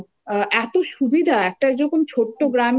পাইনি কিন্তু বাদবাকি তাছাড়া প্রত্যেকটা উমম কি বলব